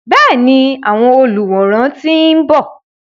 Bẹ́ẹ̀ni, àwọn olùwòran ti ń bọ̀.